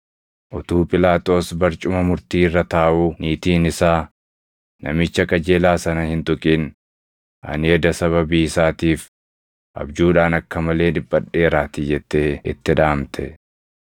Utuu Phiilaaxoos barcuma murtii irra taaʼuu niitiin isaa, “Namicha qajeelaa sana hin tuqin; ani eda sababii isaatiif abjuudhaan akka malee dhiphadheeraatii” jettee itti dhaamte.